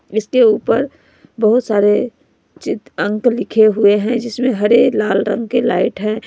इसके ऊपर बहुत सारे चित्र अंक लिखे हुए हैं जिसमें हरे लाल रंग के लाइट हैं।